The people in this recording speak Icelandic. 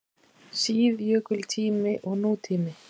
SÍÐJÖKULTÍMI OG NÚTÍMI